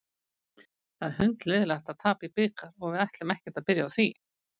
Það er hundleiðinlegt að tapa í bikar og við ætlum ekkert að byrja á því.